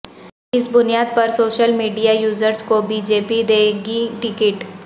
اس بنیاد پر social media users کو بی جے پی دے گی ٹکٹ